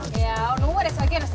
nú er eitthvað að gerast hjá